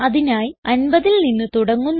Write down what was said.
അതിനായി 50ൽ നിന്ന് തുടങ്ങുന്നു